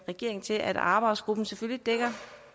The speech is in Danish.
regeringen til at arbejdsgruppen